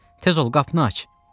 Tez ol qapını aç.